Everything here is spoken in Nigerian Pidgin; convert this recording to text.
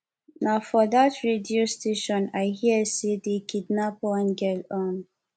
na for dat radio station i hear say dey kidnap one girl um